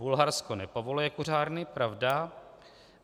Bulharsko nepovoluje kuřárny, pravda.